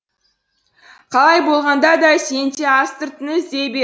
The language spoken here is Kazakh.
қалай болғанда да сен де астыртын іздей бер